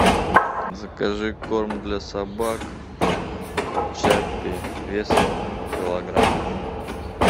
закажи корм для собак чаппи весом килограмм